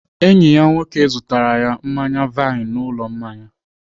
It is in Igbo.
Enyi ya nwoke zụtara ya mmanya vine n'ụlọ mmanya.